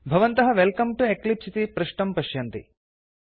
भवन्तः welcome to Eclipse इति पृष्टं पश्यन्ति